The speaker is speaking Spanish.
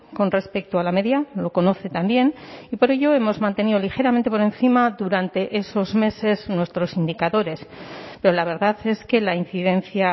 con respecto a la media lo conoce también y por ello hemos mantenido ligeramente por encima durante esos meses nuestros indicadores pero la verdad es que la incidencia